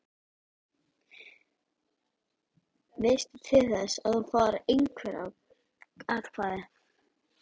Veistu til þess að þú fáir einhver atkvæði?